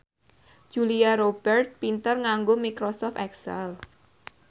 Julia Robert pinter nganggo microsoft excel